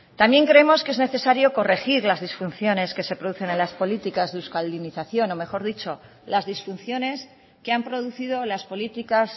también creemos que es necesario corregir las disfunciones que se producen en las políticas de euskaldunización o mejor dicho las disfunciones que han producido las políticas